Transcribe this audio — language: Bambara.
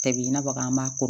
Tɛbi i n'a fɔ an b'a